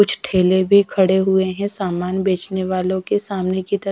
कुछ ठेले भी खड़े हुए हैं सामान बेचने वालों के सामने की तर।